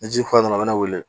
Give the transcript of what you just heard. Ni ji kɔta nana wili